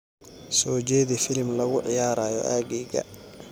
soo jeedi filim lagu ciyaarayo aaggayga